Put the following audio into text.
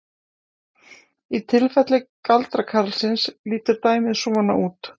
Í tilfelli galdrakarlsins lítur dæmið svona út: